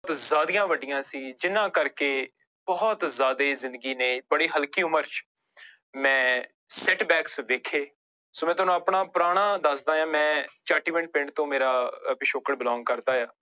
ਜ਼ਿਆਦੀਆਂ ਵੱਡੀਆਂ ਸੀ ਜਿਹਨਾਂ ਕਰਕੇ ਬਹੁਤ ਜ਼ਿਆਦੇ ਜ਼ਿੰਦਗੀ ਨੇ ਬੜੀ ਹਲਕੀ ਉਮਰ ਚ ਮੈਂ setbacks ਦੇਖੇ ਸੋ ਮੈਂ ਤੁਹਾਨੂੰ ਆਪਣਾ ਪੁਰਾਣਾ ਦੱਸਦਾਂ ਹੈ ਮੈਂ ਪਿੰਡ ਤੋਂ ਮੇਰਾ ਪਿਛੋਕੜ belong ਕਰਦਾ ਹੈ।